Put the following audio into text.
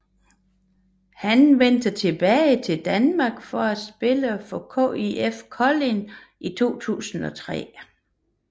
Han vendte tilbage til danmark for at spille for KIF Kolding i 2003